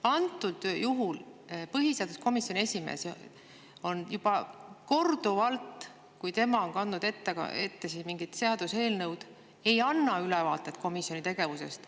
Aga põhiseaduskomisjoni esimees juba korduvalt, kui ta on kandnud ette mingit seaduseelnõu, ei ole andnud ülevaadet komisjoni tegevusest.